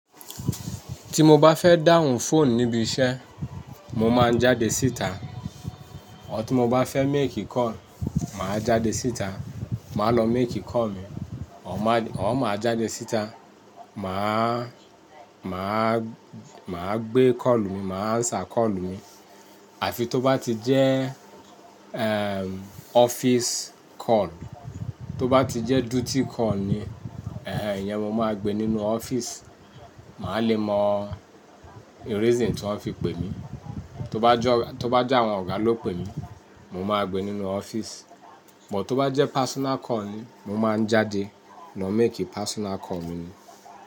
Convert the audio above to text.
Tí mo bá fẹ́ dáhùn fóònù níbi iṣẹ́, mo máa ń jáde síta. Ór tí mo bá fẹ́ make call, màá jáde síta, màá lọ make call mi. Òr máa jáde síta, màá, màá, màá gbé call mi, màá answer call mi. Àfi tó bá ti jẹ́ ehm office call. Tó bá ti jẹ́ duty call ni, ẹhẹẹn, iyen mo máa gbé nínú office. Màá le mọ reason tí wọ́n fi pè mí. Tó bá jẹ́, tó bá jẹ́ àwọn ọ̀gá ló pè mí, mo máa gbé nínú office. But tó bá jẹ́ personal call ni, mo máa ń jáde lọ make personal call mi ni.